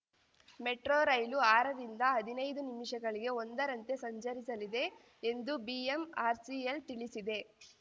metro rail ಆರರಿಂದ ಹದಿನೈದು ನಿಮಿಷಗಳಿಗೆ ಒಂದರಂತೆ ಸಂಚರಿಸಲಿದೆ ಎಂದು ಬಿಎಂಆರ್‌ಸಿಎಲ್‌ ತಿಳಿಸಿದೆ